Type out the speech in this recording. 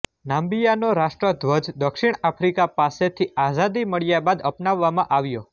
નામિબિયાનો રાષ્ટ્રધ્વજ દક્ષિણ આફ્રિકા પાસેથી આઝાદી મળ્યા બાદ અપનાવવામાં આવ્યો